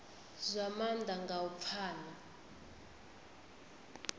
zwa maanḓa nga u pfana